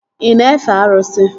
Ị na-efe arụsị?